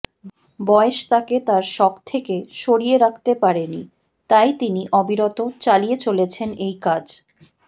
বয়স তাঁকে তাঁর শখ থেকে সরিয়ে রাখতে পারেনি তাই তিনি অবিরত চালিয়ে চলেছেন এই কাজ